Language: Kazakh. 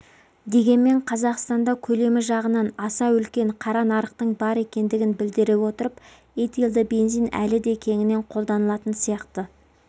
дегенмен қазақстанда көлемі жағынан аса үлкен қара нарықтың бар екендігін білдіре отырып этилды бензин әлі де кеңінен қолданылатын сияқты